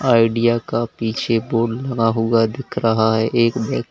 idea का पीछे board लगा हुआ दिख रहा है एक बैग --